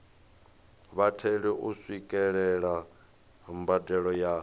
vhatheli u swikelela mbadelo ya